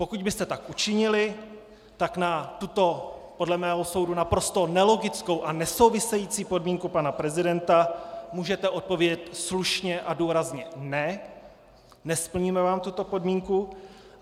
Pokud byste tak učinili, tak na tuto podle mého soudu naprosto nelogickou a nesouvisející podmínku pana prezidenta můžete odpovědět slušně a důrazně ne, nesplníme vám tuto podmínku.